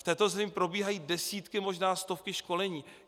V této zemi probíhají desítky, možná stovky školení.